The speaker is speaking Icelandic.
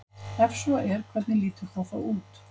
Ef svo er hvernig lítur það þá út?